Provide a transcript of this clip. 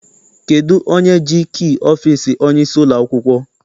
Kedụ onye ji kii ọfịịsi onyeisi ụlọakwụkwọ?